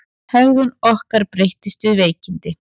Hegðun okkar breytist við veikindi.